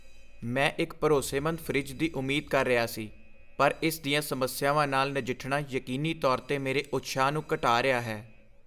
ਮੈਂ ਇੱਕ ਭਰੋਸੇਮੰਦ ਫਰਿੱਜ ਦੀ ਉਮੀਦ ਕਰ ਰਿਹਾ ਸੀ, ਪਰ ਇਸ ਦੀਆਂ ਸਮੱਸਿਆਵਾਂ ਨਾਲ ਨਜਿੱਠਣਾ ਯਕੀਨੀ ਤੌਰ 'ਤੇ ਮੇਰੇ ਉਤਸ਼ਾਹ ਨੂੰ ਘਟਾ ਰਿਹਾ ਹੈ।